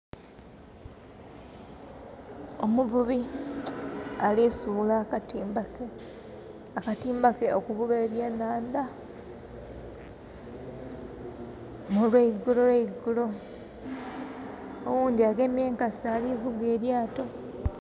Omuvubi alisuula akatimba ke, akatimba ke okuvuba ebyenanda olweigulogulo. Owundi agemye enkasi alivuga elyaato.